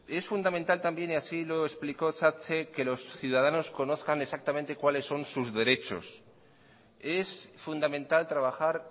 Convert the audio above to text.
es fundamental también y así lo explicó satse que los ciudadanos conozcan exactamente cuáles son sus derechos es fundamental trabajar